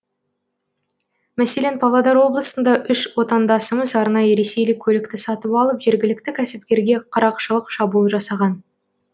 мәселен павлодар облысында үш отандасымыз арнайы ресейлік көлікті сатып алып жергілікті кәсіпкерге қарақшылық шабуыл жасаған